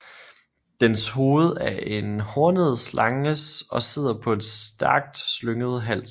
Dens hoved er en hornet slanges og sidder på en stærkt slynget hals